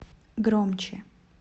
громче